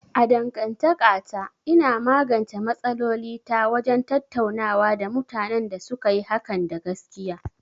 A dangantakata, ina magance matsaloli ta wajen tattaunawa da mutanen da suka yi hakan da gaskiya.